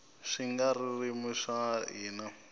swigaririmi swa hina